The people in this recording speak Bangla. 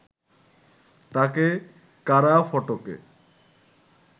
তাঁকে কারা ফটকে